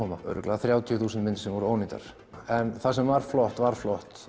af voru ábyggilega þrjátíu þúsund myndir sem voru ónýtar en það sem var flott var flott